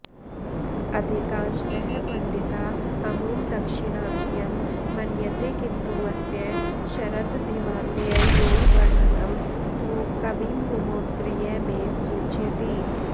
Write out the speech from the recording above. अधिकांशतः पण्डिता अमुं दाक्षिणात्यं मन्यन्ते किन्तु अस्य शरद्धिमालययोर्वर्णनं तु कविममुमौत्तरीयमेव सूचयति